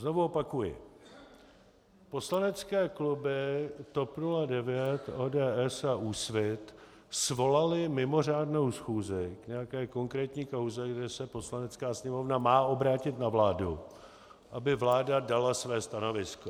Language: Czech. Znovu opakuji, poslanecké kluby TOP 09, ODS a Úsvit svolaly mimořádnou schůzi k nějaké konkrétní kauze, kde se Poslanecká sněmovna má obrátit na vládu, aby vláda dala své stanovisko.